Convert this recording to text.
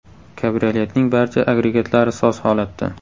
Kabrioletning barcha agregatlari soz holatda.